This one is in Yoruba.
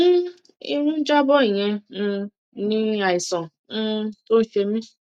um irun ń já bọ ìyẹn um ni àìsàn um tó ń ṣe mí